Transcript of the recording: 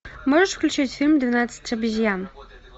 можешь включить фильм двенадцать обезьян